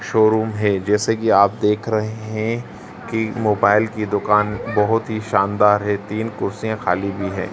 Showroom है जैसे कि आप देख रहे हैं कि मोबाइल की दुकान बहोत ही शानदार है तीन कुर्सियां खाली भी है।